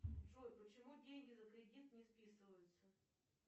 джой почему деньги за кредит не списываются